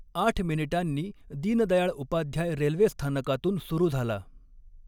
आठ मिनिटांनी दीनदयाळउपाध्याय रेल्वे स्थानकातून सुरू झाला.